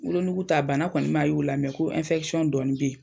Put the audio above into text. Wolonuguu ta bana kɔni ma y'o la ko dɔɔnin be ye.